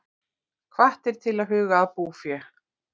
Hvattir til að huga að búfé